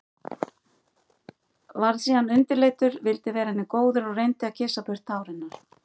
Varð síðan undirleitur, vildi vera henni góður og reyndi að kyssa burt tár hennar.